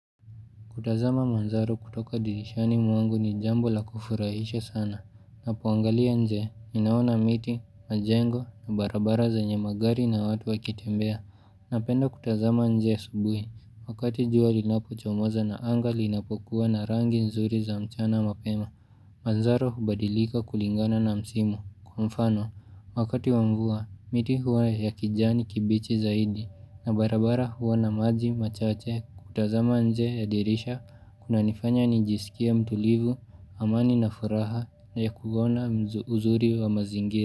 Kutazama manzaro kutoka dirishani mwangu ni jambo la kufurahisha sana, na poangalia nje, ninaona miti, majengo, na barabara ze nyemagari na watu wakitembea, na penda kutazama nje asubuhi, wakati jua linapo chomoza na angali inapokuwa na rangi nzuri za mchana mapema, manzaro hubadilika kulingana na msimu, kwa mfano, wakati wamvua, miti huwa ya kijani kibichi zaidi, na barabara huwa na maji, machache, kutazama nje ya dirisha kuna nifanya nijisikie mtulivu, amani na furaha na ya kuona uzuri wa mazingira.